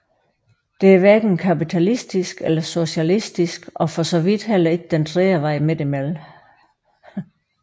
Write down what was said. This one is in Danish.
Det er hverken kapitalistisk eller socialistisk og for så vidt heller ikke den tredje vej midt imellem